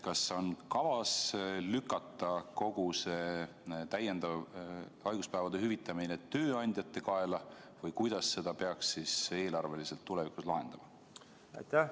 Kas on kavas lükata kogu see täiendav haiguspäevade hüvitamine tööandjate kaela või kuidas seda peaks eelarveliselt tulevikus lahendama?